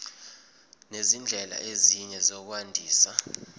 nezindlela ezinye zokwandisa